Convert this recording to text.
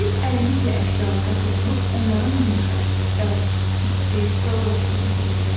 Biz əlimizlə əşyalara toxunub onların yumşaq, bərk, isti, soyuq olduğunu bilirik.